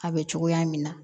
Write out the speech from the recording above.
A bɛ cogoya min na